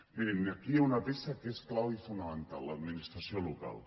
mirin aquí hi ha una peça que és clau i fonamental l’administració local